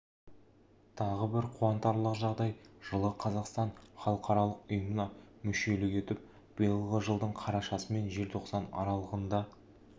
тағы бір қуантарлық жағдай жылы қазақстан халықаралық ұйымына мүшелік етіп биылғы жылдың қарашасы мен желтоқсаны аралығында